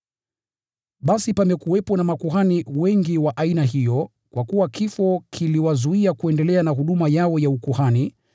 Basi pamekuwepo na makuhani wengi wa aina hiyo, kwa kuwa kifo kiliwazuia kuendelea na huduma yao ya ukuhani.